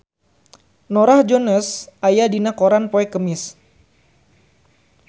Norah Jones aya dina koran poe Kemis